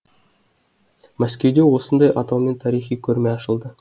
мәскеуде осындай атаумен тарихи көрме ашылды